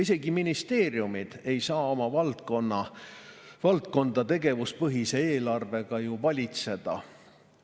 Isegi ministeeriumid ei saa oma valdkonda tegevuspõhise eelarvega valitseda.